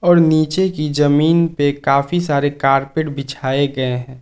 और नीचे की जमीन पे काफी सारे कारपेट बिछाए गए हैं।